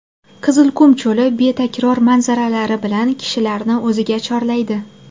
Qizilqum cho‘li betakror manzaralari bilan kishilarni o‘ziga chorlaydi.